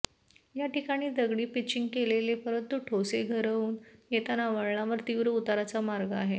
याठिकाणी दगडी पिचिंग केलेले परंतु ठोसेघरवरुन येताना वळणावर तीव्र उताराचा मार्ग आहे